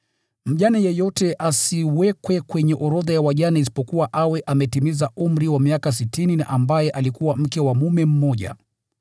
Mjane yeyote asiwekwe kwenye orodha ya wajane isipokuwa awe ametimiza umri wa miaka sitini, na ambaye alikuwa mke wa mume mmoja,